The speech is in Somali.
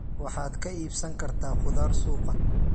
Waxaad ka iibsan kartaa khudaar suuqa.